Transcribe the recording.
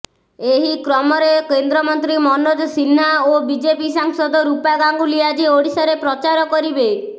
ଏହି କ୍ରମରେ କେନ୍ଦ୍ରମନ୍ତ୍ରୀ ମନୋଜ ସିହ୍ନା ଓ ବିଜେପି ସାଂସଦ ରୂପା ଗାଙ୍ଗୁଲି ଆଜି ଓଡ଼ିଶାରେ ପ୍ରଚାର କରିବେ